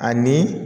Ani